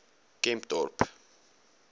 kempdorp